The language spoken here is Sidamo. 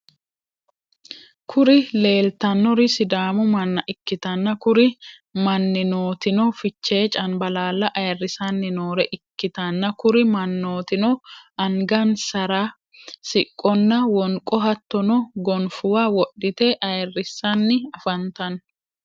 kuri lelitanori sidaamu manna ikitana kuri maninotino fiche caniballa ayirisanni nore ikitana kuri manotino aniganisaara siqqona woniqqo hattono gonifuwa wodhite ayirisani afanitano.